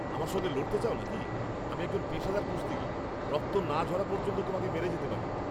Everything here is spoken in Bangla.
আমার সঙ্গে লড়তে চাও নাকি? আমি একজন পেশাদার কুস্তিগীর! রক্ত না ঝরা পর্যন্ত তোমাকে মেরে যেতে পারি।